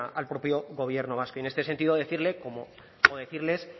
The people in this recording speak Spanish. al propio gobierno vasco y en este sentido decirle o decirles